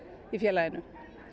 í félaginu